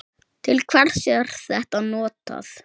Til hvers er þetta notað?